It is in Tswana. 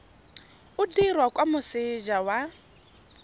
o dirwa kwa moseja wa